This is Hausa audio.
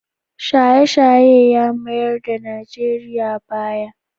Shaye-shaye ya mayar Najeriya baya.